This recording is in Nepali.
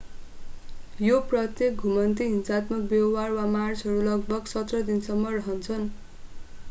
यी प्रत्येक घुमन्ते हिंसात्मक व्यवहार वा मार्चहरू लगभग 17 दिनसम्म रहन्छन्